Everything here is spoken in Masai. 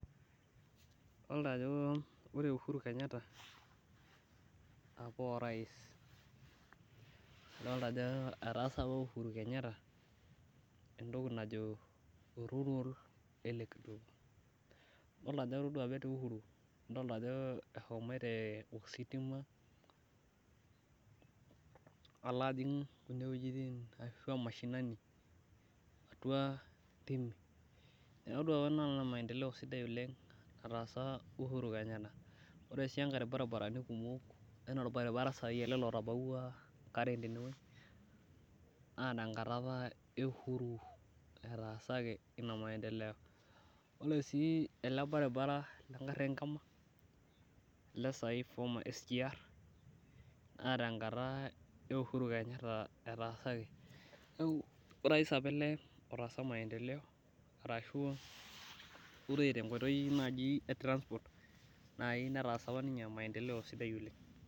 Idolta ajo ore uhuru Kenyatta apa oorais, idolta Ajo etaasa apa Uhuru Kenyatta entoki naji rural electric idolta Ajo ore apa etii uhuru eshomoito ositima alo ajing kina wuejitin ashua mashinini atua, ntimi, neeku atodua apa anaa maendeleo sidai oleng. nataasa uhuru Kenyatta, ore sii enkae ilbarinarani kumok anaa sai ele otabaua Karen tene wueji, naa tenakata apa e uhuru etaasaki Ina maendeleo. ore sii ele baribabara le gari enkima ele sai former sgr. naa tenkata e uhuru Kenyatta etaasaki, orais apa ele otaasa maendeleo ahu ore tenkoitoi naaji e transport naaji netaasa apa ninye maendeleo sidai oleng.